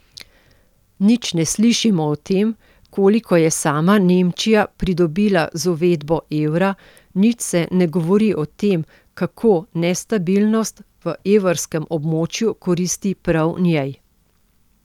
Nič ne slišimo o tem, koliko je sama Nemčija pridobila z uvedbo evra, nič se ne govori o tem, kako nestabilnost v evrskem območju koristi prav njej.